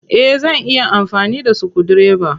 Eh. Zan iya amfani da sukudireba.